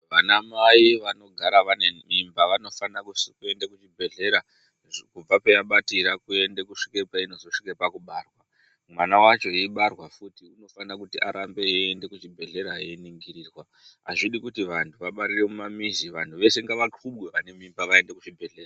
Vana mai vano gara vane mimba vano fana kuende ku zvibhedhlera kubva paya batira kuende kusvike peinozo svike paku barwa mwana wacho eibarwa futi anofana kuti arambe eyi ende ku chibhedhlera eyi ningirirwa azvidi kuti vantu vabarire mu mamizi vanhu vese ngava kubwe vane mimba vaende ku chibhedhleya.